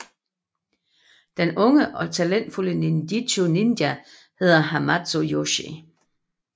Den unge og talentfulde ninjitsu ninja hedder Hamato Yoshi